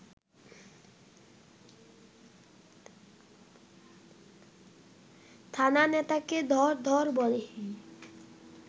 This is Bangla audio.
থানা নেতাকে ধর ধর বলে